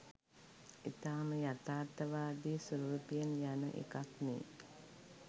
ඉතාම යථාර්ථවාදී ස්වරූපයෙන් යන එකක්නෙ.